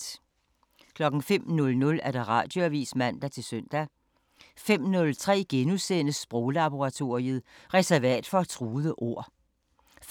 05:00: Radioavisen (man-søn) 05:03: Sproglaboratoriet: Reservat for truede ord * 05:30: